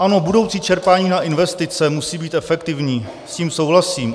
Ano, budoucí čerpání na investice musí být efektivní, s tím souhlasím.